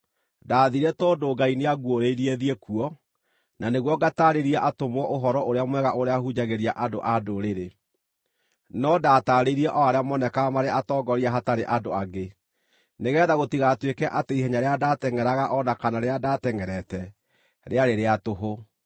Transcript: Ndathiire tondũ Ngai nĩanguũrĩirie thiĩ kuo, na nĩguo ngataarĩrie atũmwo Ũhoro-ũrĩa-Mwega ũrĩa hunjagĩria andũ-a-Ndũrĩrĩ. No ndataarĩirie o arĩa monekaga marĩ atongoria hatarĩ andũ angĩ, nĩgeetha gũtigatuĩke atĩ ihenya rĩrĩa ndatengʼeraga, o na kana rĩrĩa ndatengʼerete, rĩarĩ rĩa tũhũ.